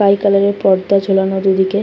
Sky colour এর পর্দা ঝোলানো দুদিকে।